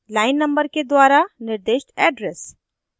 line numbers के द्वारा निर्दिष्ट address